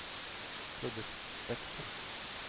produktspekter